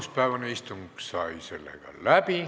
Esmaspäevane istung sai läbi.